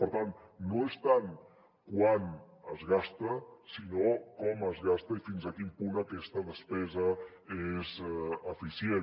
per tant no és tant quant es gasta sinó com es gasta i fins a quin punt aquesta despesa és eficient